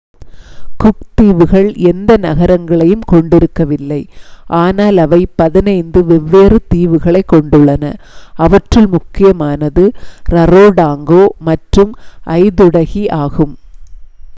cook தீவுகள் எந்த நகரங்களையும் கொண்டிருக்கவில்லை ஆனால் அவை 15 வெவ்வேறு தீவுகளைக் கொண்டுள்ளன அவற்றில் முக்கியமானது ரரோடோங்கா மற்றும் ஐதுடகி ஆகும்